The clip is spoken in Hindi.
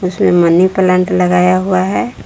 उसमें मनी प्लांट लगाया हुआ है।